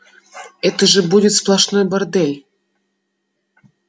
это же будет сплошной бордель